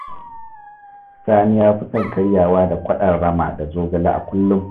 Sani ya fi son karyawa da kwaɗon rama da zogale a kullum